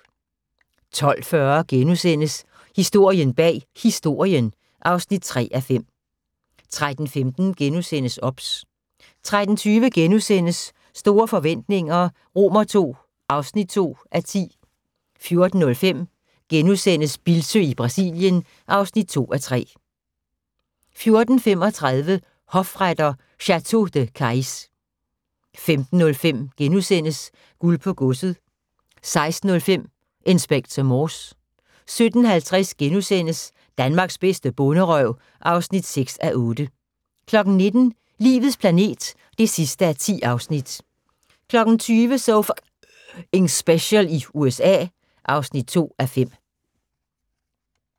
12:40: Historien bag Historien (3:5)* 13:15: OBS * 13:20: Store forretninger II (2:10)* 14:05: Bildsøe i Brasilien (2:3)* 14:35: Hofretter: Château de Cayx 15:05: Guld på godset * 16:05: Inspector Morse 17:50: Danmarks bedste bonderøv (6:8)* 19:00: Livets planet (10:10) 20:00: So F***ing Special i USA (2:5)